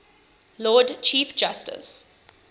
lord chief justice